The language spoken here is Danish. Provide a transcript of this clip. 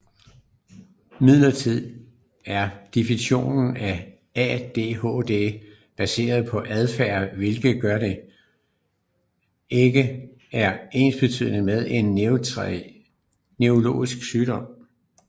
Imidlertid er definitionen af ADHD baseret på adfærd hvilket gør at det ikke er ensbetydende med en neurologisk sygdom